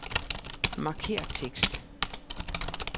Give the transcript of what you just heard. Markér tekst.